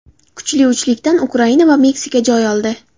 Kuchli uchlikdan Ukraina va Meksika joy oldi.